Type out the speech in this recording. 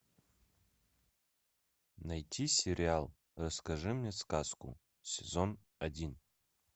найти сериал расскажи мне сказку сезон один